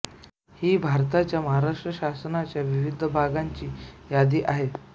ही भारताच्या महाराष्ट्र शासनाच्या विविध विभागांची यादी आहे